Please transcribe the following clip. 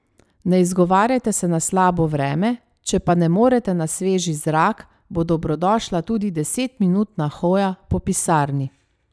Ne izgovarjajte se na slabo vreme, če pa ne morete na sveži zrak, bo dobrodošla tudi desetminutna hoja po pisarni.